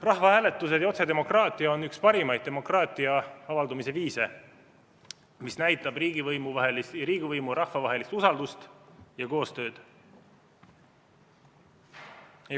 Rahvahääletus ja otsedemokraatia on üks parimaid demokraatia avaldumise viise, see näitab riigivõimu ja rahva vahelist usaldust ja koostööd.